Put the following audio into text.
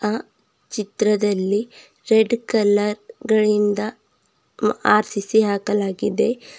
ಆ ಚಿತ್ರದಲ್ಲಿ red colour ಗಳಿಂದ ಮ್ ಆರ್ಸಿಸಿ ಹಾಕಲಾಗಿದೆ.